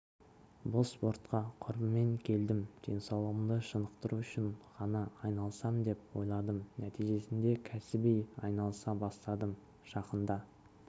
бұл спортқа құрбыммен келдім денсаулығымды шынықтыру үшін ғана айналысам деп ойладым нәтижесінде кәсіби айналыса бастадым жақында